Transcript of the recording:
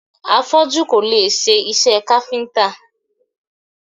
Afọ́jú kò lè ṣe iṣẹ́ káfíntà.